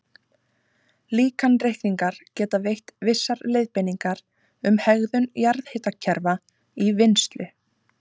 Líkanreikningar geta veitt vissar leiðbeiningar um hegðun jarðhitakerfa í vinnslu.